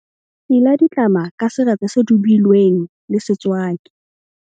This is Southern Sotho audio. Sila ditlama ka seretse se dubilweng le setswaki.